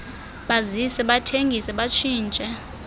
bazise bathengise batshintshe